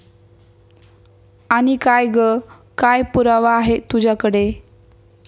आणि काय ग काय पुरावा आहे तुझ्याकडे?